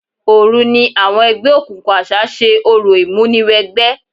Òru ni àwọn ẹgbẹ́ òkùnkùn àṣá ṣe orò ìmúniwẹgbẹ́.